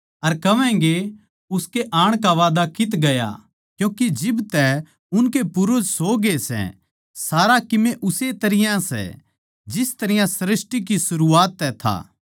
अर कहवैगें उसकै आण का वादा कित्त गया क्यूँके जिब तै उनके पूर्वज सो ग्ये सै सारा कीमे उस्से तरियां ए सै जिस तरियां सृष्टि की सरूआत तै था